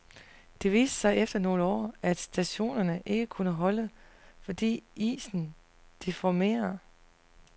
Det viste sig efter nogle år, at stationerne ikke kunne holde, fordi isen deformerer.